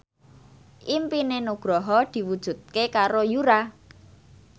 impine Nugroho diwujudke karo Yura